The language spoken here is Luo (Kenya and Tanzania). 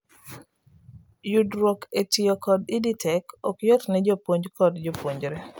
yudruok e tiyo kod EdTech ok yot ne jopuomj kod jopuonjre